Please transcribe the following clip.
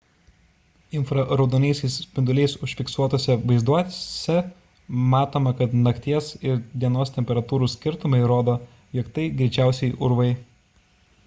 infraraudonaisiais spinduliais užfiksuotuose vaizduose matoma kad nakties ir dienos temperatūrų skirtumai rodo jog tai greičiausiai urvai